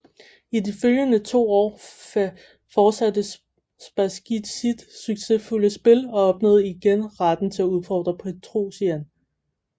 I de følgende to år fortsatte Spasskij sit succesfulde spil og opnåede igen retten til at udfordre Petrosian